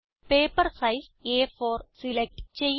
paper size അ4 select ചെയ്യുക